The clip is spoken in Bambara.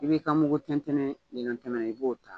I b'i ka mugu tɛntɛnnen i b'o ta.